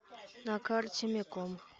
на карте меком